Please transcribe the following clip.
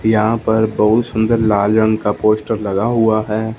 यहां पर बहुत सुंदर लाल रंग का पोस्टर लगा हुआ है।